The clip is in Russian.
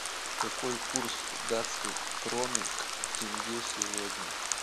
какой курс датской кроны к тенге сегодня